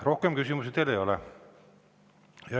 Rohkem küsimusi teile ei ole.